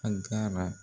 An ga na